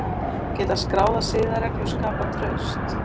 Geta skráðar siðareglur skapað traust?